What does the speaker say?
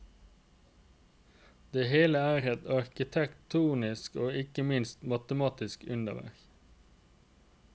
Det hele er et arkitektonisk og ikke minst matematisk underverk.